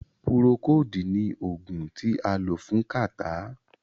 Púrókòodu ní oògùn tí a lò fún kàtá.